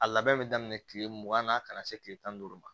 A labɛn bɛ daminɛ kile mugan na a kana se kile tan ni duuru ma